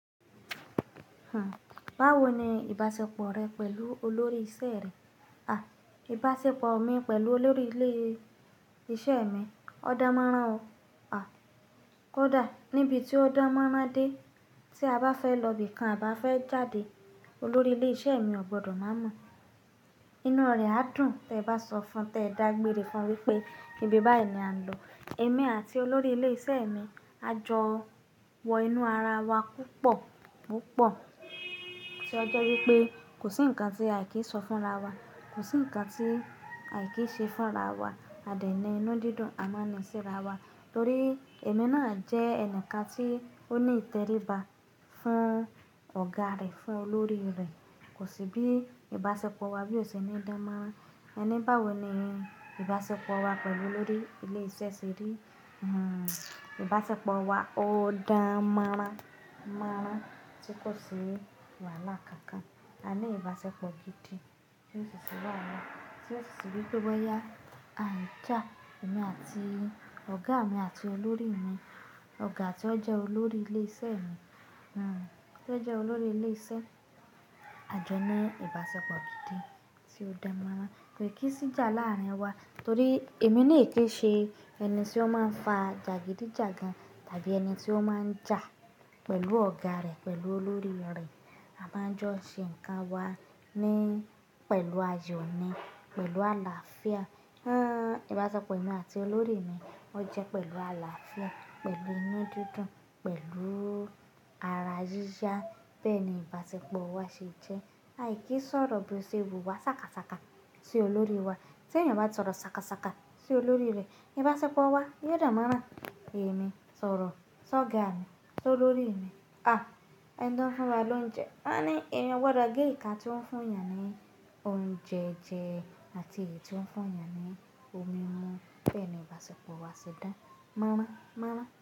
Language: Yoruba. Báwo ni ìbáṣepọ̀ rẹ pẹ̀lú olórí ìṣe rẹ? Báṣepọ̀ mi pẹ̀lú olórí ilé iṣẹ́ mi ó dáa mọ́rán o. Kódà níbi tí ó dáa mọ́rán dé, tí a bá fẹ́ lọ bí i kan a bá fẹ́ jáde, olórí ilé iṣẹ́ mi ò gbọdọ̀ má mọ̀. Inú rẹ̀ á dùn tí ẹ bá sọ fún tẹ ẹ dágbére fún wípé níbí báyìi ni à ń lọ. Ẹ̀mí àti olórí ilé iṣẹ́ mi a jọ wọ inú ara wa púpọ̀ púpọ̀ tí ó jẹ́ wípé kò sí ǹkan tí àì kí ń sọ fún ara wa, kò sí ǹkan tí àì kí ń ṣe fún ara wa, a dẹ̀ ní inú dídùn, a máa ní síra wa. Torí ẹ̀mí náà jẹ́ ẹnìkan tí ó ní ìtẹríba fún ọ̀gá rẹ̀, fún olórí rẹ̀. Kò sí bí ìbáṣepọ̀ wa bí òṣìní dáa mọ́. Ẹni bá wò ní ìbáṣepọ̀ wa pẹ̀lú olórí ilé iṣẹ́ ṣe rí, ìbáṣepọ̀ wa ó dáa mọ́rán mọ́rán tí kò sí wàhálà kànkàn. A ní ìbáṣepọ̀ gidi tí ó sì ṣi wà wa, tí ó sì ṣi wípé bóyá à ń jà, ẹ̀mí àti ọ̀gá mi àti olórí mi, ọ̀gá tí ó jẹ́ olórí ilé iṣẹ́ mi, hm, tí ó jẹ́ olórí ilé iṣẹ́, a jọ ní ìbáṣepọ̀ gidi tí ó dáa mọ́rán. Kò kí sì jà láàrin wa torí ẹ̀mí ni èyí kìí ṣe ẹni tí ó máa ń fa jàgídíjàgan tàbí ẹni tí ó máa ń jà pẹ̀lú ọ̀gá rẹ̀, pẹ̀lú olórí rẹ̀. A máa ń jọ ṣe ǹkan wa ní pẹ̀lú ayọ̀ ní, pẹ̀lú àlàáfíà. Ìbáṣepọ̀ èmi àti olórí mi ó jẹ́ pẹ̀lú àlàáfíà, pẹ̀lú inú dídùn, pẹ̀lú ara yíyá. Bẹ́ẹ̀ ni ìbáṣepọ̀ wa ṣè jẹ. Àì kí sọ̀rọ̀ bí ó ṣe wù wá sákasàka sí olórí wa. Ṣé ẹni bá ń sọ̀rọ̀ sákasàka sí olórí rẹ̀, ìbáṣepọ̀ wa yóò dà mọ́rán? Ẹ̀mí ń sọ̀rọ̀ só ọ̀gá mi, só olórí mi, à, ẹti oun fun wá lọ jẹun. A ní ẹ̀eyan ò gbọdọ̀ gé ìka tí ó ń fún ènìyàn ní oúnjẹ jẹ àti èyí tí ó ń fún ènìyàn ní omi mímu. Bẹ́ẹ̀ ni ìbáṣepọ̀ wa ṣé dà mọ́rán mọ́rán.